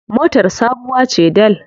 Motar sabuwa ce dal.